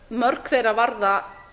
mörg þeirra varða